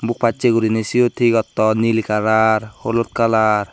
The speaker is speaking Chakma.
buk passey guriney siyot he gotton nil kaalar holot kaalar.